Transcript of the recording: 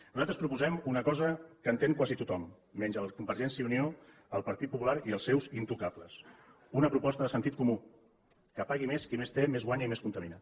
nosaltres proposem una cosa que entén quasi tothom menys convergència i unió el partit popular i els seus intocables una proposta de sentit comú que pagui més qui més té més guanya i més contamina